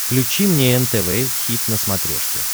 включи мне нтв хит на смотрешке